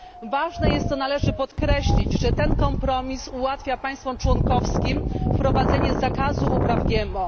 Ważne jest, co należy podkreślić, że ten kompromis ułatwia państwom członkowskim wprowadzenie zakazu upraw GMO.